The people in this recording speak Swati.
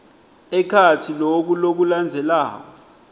ekhatsi loku lokulandzelako